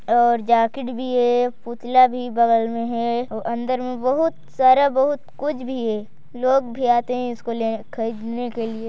और जैकेट भी है पुतला भी बगल में है और अंदर में बहुत सारा बहुत कुछ भी है लोग भी आते है इसको लेने खरीदने क लिए।